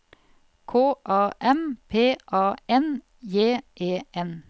K A M P A N J E N